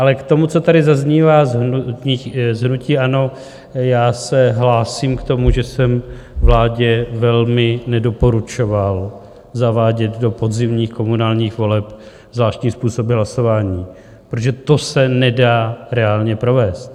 Ale k tomu, co tady zaznívá z hnutí ANO, já se hlásím k tomu, že jsem vládě velmi nedoporučoval zavádět do podzimních komunálních voleb zvláštní způsoby hlasování, protože to se nedá reálně provést.